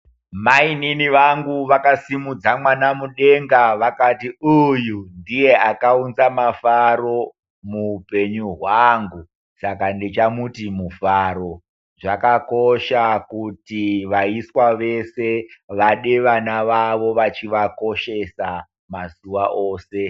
Maininini vangua vakasimudza mwana mudenga vakati uyu ndiye akaunza mafaro muupenyu hwangu, saka ndichamuti mufaro , zvakakosha kuti vaiswa vese vade vana vavo vachi vakoshesa mazuva ose.